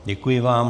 Děkuji vám.